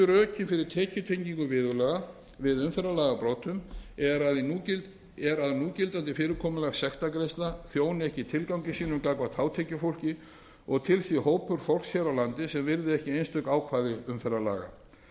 rökin fyrir tekjutengingu viðurlaga við umferðarlagabrotum er að núgildandi fyrirkomulag sektargreiðslna þjóni ekki tilgangi sínum gagnvart hátekjufólki og að til sé hópur fólks hér á landi sem virði ekki einstök ákvæði umferðarlaga